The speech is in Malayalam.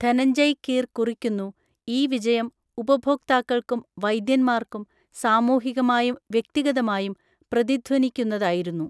ധനഞ്ജയ് കീർ കുറിക്കുന്നു, ഈ വിജയം ഉപഭോക്താക്കൾക്കും വൈദ്യന്മാർക്കും സാമൂഹികമായും വ്യക്തിഗതമായും പ്രതിധ്വനിക്കുന്നതായിരുന്നു.